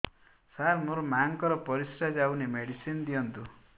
ସାର ମୋର ମାଆଙ୍କର ପରିସ୍ରା ଯାଉନି ମେଡିସିନ ଦିଅନ୍ତୁ